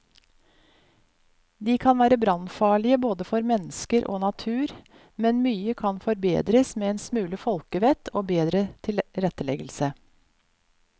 De kan være brannfarlige både for mennesker og natur, men mye kan forbedres med en smule folkevett og bedre tilretteleggelse.